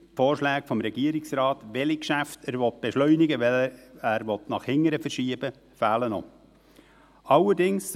Die Vorschläge des Regierungsrates, welche Geschäfte er beschleunigen und welche er nach hinten schieben will, fehlen noch.